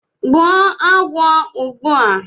gbuo agwo ugbua!